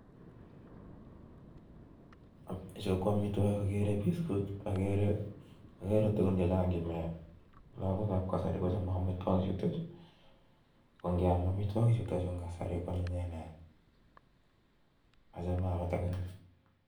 Chuu ko amitwogikAgere tugun chechang chemiii Yu lagook ap.kasari konngiam amitwogi chuu koanyinyeen